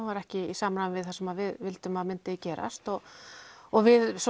var ekki í samræmi við það sem við vildum að myndi gerast við